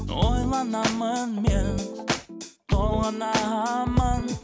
ойланамын мен толғанамын